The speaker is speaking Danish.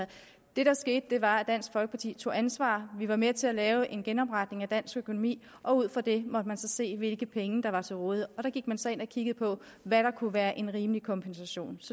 det der skete var at dansk folkeparti tog ansvar vi var med til at lave en genopretning af dansk økonomi og ud fra det måtte man så se hvilke penge der var til rådighed og der gik man så ind og kiggede på hvad der kunne være en rimelig kompensation